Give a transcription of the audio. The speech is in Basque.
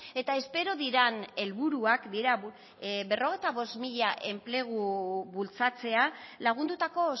eta espero diren helburuak dira berrogeita bost mila enplegu bultzatzea lagundutako